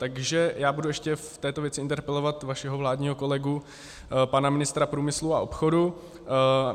Takže já budu ještě v této věci interpelovat vašeho vládního kolegu, pana ministra průmyslu a obchodu.